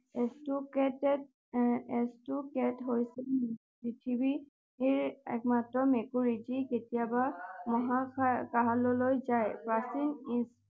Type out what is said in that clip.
Cat cat হৈছে পৃথিৱীৰ একমাত্ৰ মেকুৰী যি কেতিয়াবা মহাকাশলৈ যায়